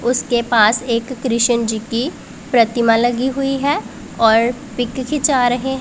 उसके पास एक कृशन जी की प्रतिमा लगी हुई है और पिक खींचा रहे--